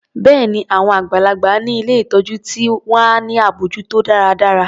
Bẹ́ẹ̀ni, wọn àgbàlagbà ni ilé ìtọjú ti wà ní abójútó dáradára.